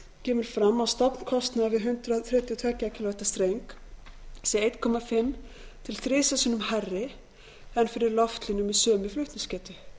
kemur fram að stofnkostnaður við hundrað þrjátíu og tvö kv streng sé eins og hálft til þrisvar sinnum hærri en fyrir loftlínu með sömu flutningsgetu